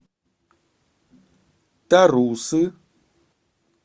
тарусы